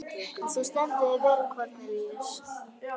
Þú stendur þig vel, Kornelíus!